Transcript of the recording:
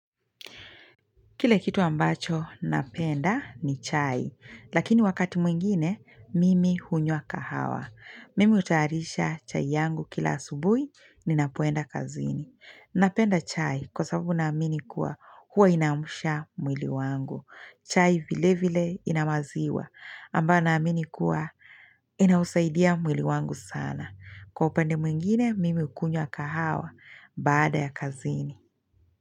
Kile kitu ambacho napenda ni chai, lakini wakati mwingine, mimi hunywa kahawa. Mimi hutayarisha chai yangu kila asubuhi ninapoenda kazini. Napenda chai kwa sababu naamini kuwa huwa inaamsha mwili wangu. Chai vilevile ina maziwa, ambayo naamini kuwa yanasaidia mwili wangu sana. Kwa upande mwingine, mimi hukunywa kahawa baada ya kazini.